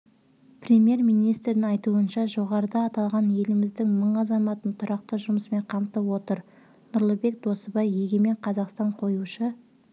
қабілеті жағынан елдегі оң өзгерістердің қозғаушы күші бола алатын ниеттестер қауымдастығы деп білеміз деді ол